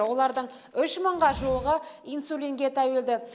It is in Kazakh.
олардың үш мыңға жуығы инсулинге тәуелді